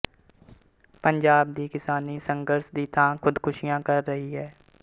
ਪੰਜਾਬ ਦੀ ਕਿਸਾਨੀ ਸੰਘਰਸ਼ ਦੀ ਥਾਂ ਖੁਦਕੁਸ਼ੀਆਂ ਕਰ ਕਰ ਰਹੀ ਹੈ